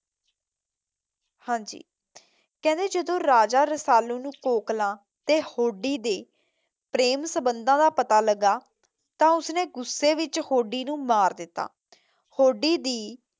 ਹਾਂਜੀ ਕਹਿੰਦੇ ਜਦੋਂ ਰਾਜਾ ਰਸਾਲੂ ਨੂੰ ਕੋਕਲਾ ਤੇ ਹੋਡੀ ਦੀ ਪ੍ਰੇਮ ਸੰਬੰਧਾਂ ਦਾ ਪਤਾ ਲੱਗਾ ਤਾਂ ਉਸਨੇ ਗ਼ੁੱਸੇ ਵਿੱਚ ਹੋਡੀ ਨੂੰ ਮਾਰ ਦਿੱਤਾ। ਹੋਡੀ ਦੀ